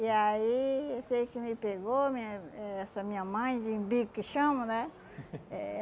E aí eu sei que me pegou minha eh essa minha mãe, de que chamam, né? Eh